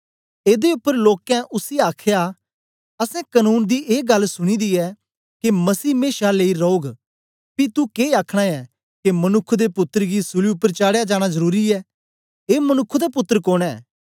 एदे उपर लोकें उसी आखया असैं कनून दी ऐ गल्ल सुनी दी ऐ के मसीह मेशा लेई रौग पी तू के आखना ऐ के मनुक्ख दे पुत्तर गी सूली उपर चाडया जाना जरुरी ऐ ऐ मनुक्ख दा पुत्तर कोन ऐ